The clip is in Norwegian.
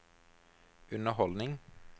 underholdning